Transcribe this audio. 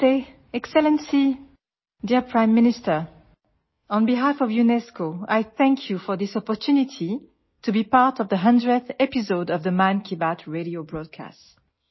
Namaste Excellency, Dear Prime Minister on behalf of UNESCO I thank you for this opportunity to be part of the 100th episode of the 'Mann Ki Baat' Radio broadcast